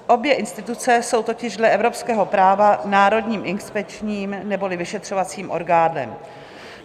Obě instituce jsou totiž dle evropského práva národním inspekčním neboli vyšetřovacím orgánem.